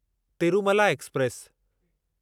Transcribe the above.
Tirumala express